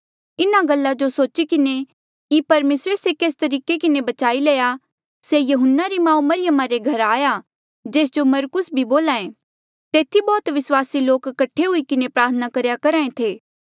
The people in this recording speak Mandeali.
इन्हा गल्ला जो सोची किन्हें की परमेसरे से केस तरीके के बचाई लया से यहून्ना री माऊ मरियमा रे घरा आया जेस जो मरकुस बोल्हा ऐें तेथी बौह्त विस्वासी लोक कठे हुई किन्हें प्रार्थना करेया करहा ऐें थे